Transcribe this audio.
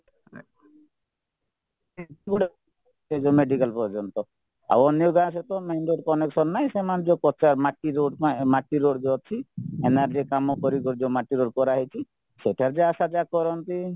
ଏ ଯୋଉ ମେଡିକାଲ ପର୍ଯ୍ୟନ୍ତ ଆଉ ଅନ୍ୟ ଗାଁ ସହିତ main road connection ନାହିଁ ସେମାନେ ଯୋଉ ମାଟି road ପାଇଁ ମାଟି road ଯୋଉ ଅଛି କାମ ପରି ଯୋଉ ମାଟି road କରାହେଇଛି ସେଇଟାକୁ ଯାହା ଆଶା ଯାହା କରନ୍ତି